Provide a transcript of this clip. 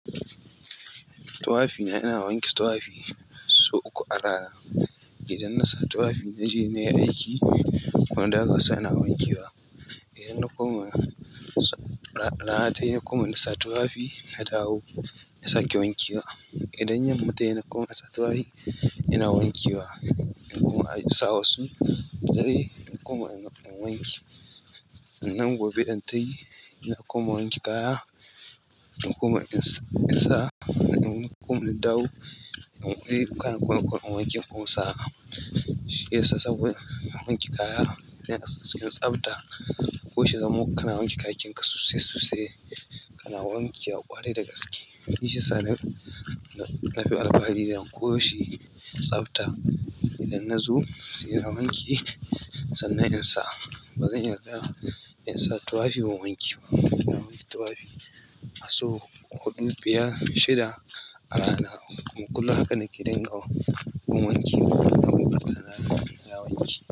Tuwafi ina wanke tuwafi sau uku a rana. Idan na sa tuwafi naje nayi aiki kuma daga sai na wanke wa. Idan na koma rana tayi kuma na sa tuwafi na dawo na sake wanke wa. Idan yamma tayi na koma nasa tuwafi ina wanke wa kuma in sawa su dare kuma in wanke. Nan gobe idan tayi ina kuma wanke kaya, ina kuma in sa, ina kuma na dawo ina koyan kunun wankin kuma in sa. Shi yasa saboda ina wanke kaya, ina tsabta, ko shi zamo kana wanke bakinka sosai sosai kana wanke ƙwari da gaske. Shi shine labarin ɗan ƙoshi tsabta. Idan na zo sai na wanke sannan in sa. Ba zan yarda insa tuwafi ban wanke ba. Ina wanke tuwafi sau huɗu, biyar, shida a rana. Kulla haka nake danganta gun wanki da rana ta wanke.